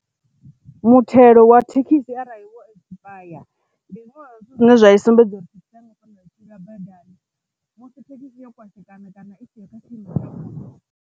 Muthelo wa thekhisi arali wo ekisipayare ndi zwithu zwine zwa sumbedza uri musi thekhisi yo kwashekana kana i siho kha tshiimo tsha vhuḓi.